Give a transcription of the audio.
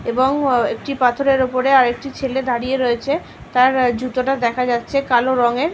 এবং একটি পাথরের উপরে আর একটি ছেলে দাঁড়িয়ে রয়েছে। তার জুতোটা দেখা যাচ্ছে কালো রংয়ের ।